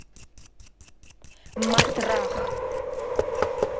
матрах